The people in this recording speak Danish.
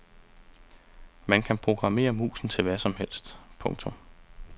Man kan programmere musen til hvad som helst. punktum